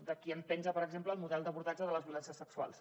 d’aquí en penja per exemple el model d’abordatge de les violències sexuals